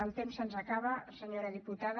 el temps se’ns acaba senyora diputada